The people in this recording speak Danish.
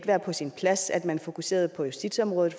være på sin plads at man fokuserede på justitsområdet